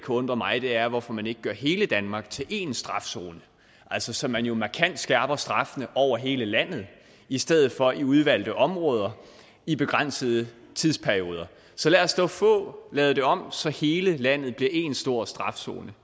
undre mig er hvorfor man ikke gør hele danmark til én strafzone altså så man markant skærper straffene over hele landet i stedet for i udvalgte områder i begrænsede tidsperioder så lad os dog få lavet det om så hele landet bliver én stor strafzone